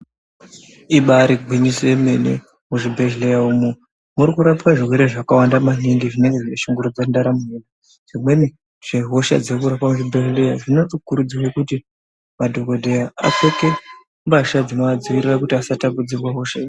Ibari gwinyiso yemene. Muzvibhedhleya umwo murikupwa zvirwere zvakawanda maningi zvinenge zveishungurudza ndaramo yedu. Zvimweni zvehosha dzirikurapwa kuzvibhedhleya zvinotokurudzirwe kuti madhokodheya apfeke mbasha dzinovadzivirira kuti asatapudzirwa hosha idzi.